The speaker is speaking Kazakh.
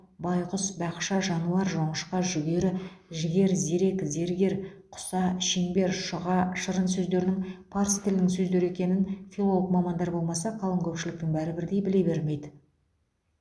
байғұс бақша жануар жоңышқа жүгері жігер зерек зергер құса шеңбер шұға шырын сөздерінің парсы тілінің сөздері екенін филолог мамандар болмаса қалың көпшіліктің бәрі бірдей біле бермейді